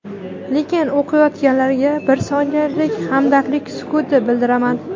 lekin o‘qiyotganlarga bir soniyalik hamdardlik sukuti bildiraman.